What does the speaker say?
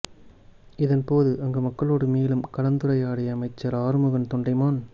இதன் போது அங்கு மக்களோடு மேலும் கலந்துரையாடிய அமைச்சர் ஆறுமுகன் தொண்டமான்